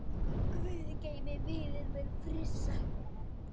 Guð geymi vininn minn Frissa.